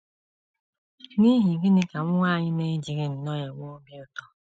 N’ihi gịnị ka nwa anyị na - ejighị nnọọ enwe obi ụtọ?